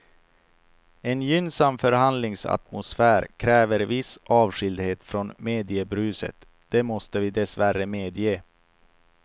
En gynnsam förhandlingsatmosfär kräver viss avskildhet från mediebruset, det måste vi dessvärre medge.